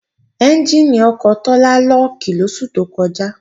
Ẹ́njìnì ọkọ̀ Tọ́lá lọ́ọ̀kì lóṣù tó kọjá